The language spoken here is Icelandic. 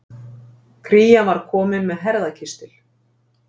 Krían var komin með herðakistil.